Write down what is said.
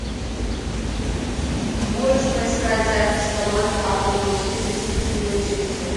можешь поискать запись команд апл манчестер сити и манчестер